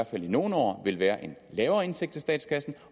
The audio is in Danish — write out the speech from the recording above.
fald i nogle år vil være en lavere indtægt til statskassen